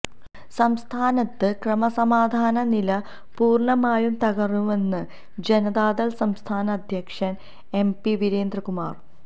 സംസ്ഥാനത്ത് ക്രമസമാധാന നില പൂര്ണമായും തകര്ന്നുവെന്ന് ജനതാദള് സംസ്ഥാന അധ്യക്ഷന് എം പി വീരേന്ദ്രകുമാര്